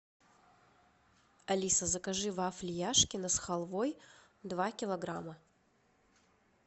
алиса закажи вафли яшкино с халвой два килограмма